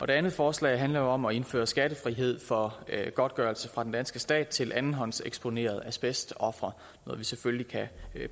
det andet forslag handler om at indføre skattefrihed for godtgørelse fra den danske stat til andenhåndseksponerede asbestofre noget vi selvfølgelig kan